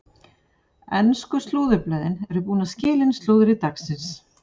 Ensku slúðurblöðin eru búin að skila inn slúðri dagsins.